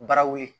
Baraw ye